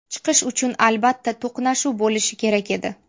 Chiqish uchun, albatta, to‘qnashuv bo‘lishi kerak edi.